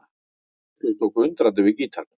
Áslaug tók undrandi við gítarnum.